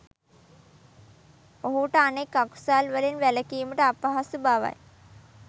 ඔහුට අනෙක් අකුසල් වලින් වැළැකීමට අපහසු බවයි.